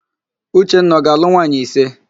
Uchenna ọ ga-alụ nwaanyị ise?